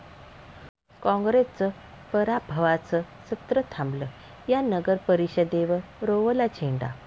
काँग्रेसचं पराभवाचं सत्र थांबलं, या नगरपरिषदेवर रोवला झेंडा